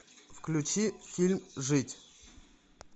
включи фильм жить